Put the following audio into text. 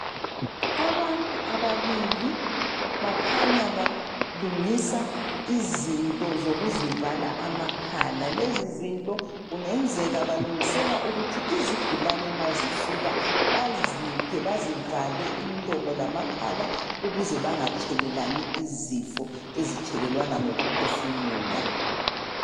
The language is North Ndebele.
abantu ababili bakhanya balungisa izinto zokuvala amakhala, lezi zinto kungenzeka balungisela izigulane nxa zifika baziphi bazivale imlomo lamakhala ukuze bangathelelani izifo ezithelelwana ngokuphefumula